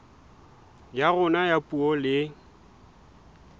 ya rona ya puo le